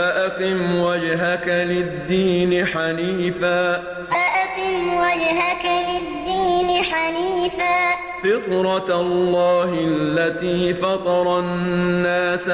فَأَقِمْ وَجْهَكَ لِلدِّينِ حَنِيفًا ۚ فِطْرَتَ اللَّهِ الَّتِي فَطَرَ النَّاسَ